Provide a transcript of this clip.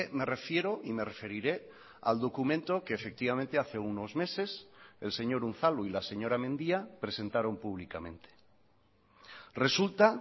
me refiero y me referiré al documento que efectivamente hace unos meses el señor unzalu y la señora mendia presentaron públicamente resulta